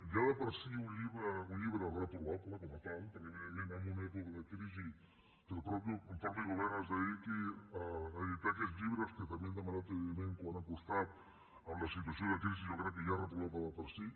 ja de per si un llibre reprovable com a tal perquè evidentment en una època de crisi que el mateix govern es dediqui a editar aquests llibres que també hem demanat quant ha costat en la situació de crisi jo crec que ja és reprovable de per si